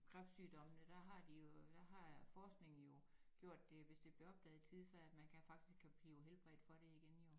Kræftsygdommene der har de jo der har forskningen jo gjort det at hvis det bliver opdaget i tide så at man kan faktisk blive helbredt for det igen jo